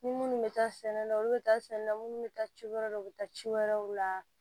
Ni minnu bɛ taa sɛnɛ na olu bɛ taa sɛnɛ na minnu bɛ taa ci wɛrɛw la u bɛ taa ci wɛrɛw la